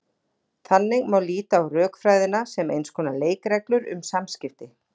Þannig má líta á rökfræðina sem eins konar leikreglur um samskipti.